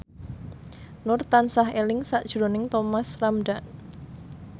Nur tansah eling sakjroning Thomas Ramdhan